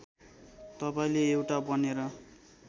तपाईँले एउटा बनेर